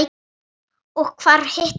Og hvar hittum við hann?